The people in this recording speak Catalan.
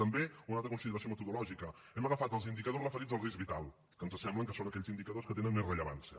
també una altra consideració metodològica hem agafat els indicadors referits al risc vital que ens sembla que són aquells indicadors que tenen més rellevància